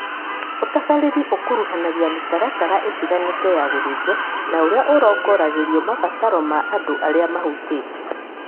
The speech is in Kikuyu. ũtabarĩri ũkuruhanagia mĩtaratara ĩtiganĩte ya gũthĩnjwo na ũrĩa ũrongoragĩrio mabataro ma andũ arĩa mahutĩtio